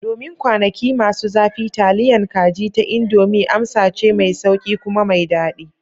Domin kwanaki masu zafi, taliyan kaji ta Indomie amsa ce mai sauƙi kuma mai daɗi.